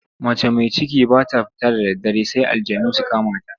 Mace mai ciki ba ta fita da daddare sai aljanu su kama ta.